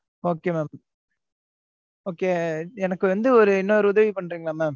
okay, mam okay எனக்கு வந்து, ஒரு, இன்னொரு உதவி பண்றீங்களா mam